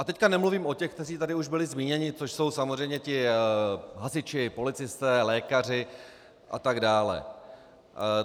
A teď nemluvím o těch, kteří tady už byli zmíněni, což jsou samozřejmě ti hasiči, policisté, lékaři a tak dále.